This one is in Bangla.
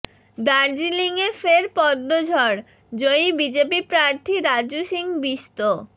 দার্জিলিংয়ে ফের পদ্ম ঝড় জয়ী বিজেপি প্রার্থী রাজু সিং বিস্ত